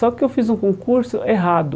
Só que eu fiz um concurso errado.